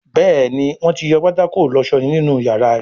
Béèni Wón tí yọ pátákó ìlósó nínú iyàrá rẹ.